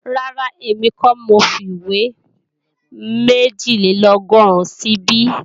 Rárá, èmi kọ́ mo fìwé méjìlélọ́gọ́rùn síbí